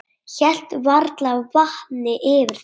Hélt varla vatni yfir þeim.